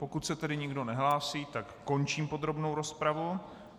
Pokud se tedy nikdo nehlásí, tak končím podrobnou rozpravu.